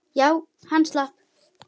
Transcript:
Já, hann slapp.